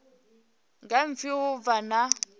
nga pfi ho vha na